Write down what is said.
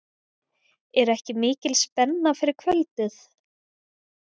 Er ekki mikil spenna fyrir kvöldið?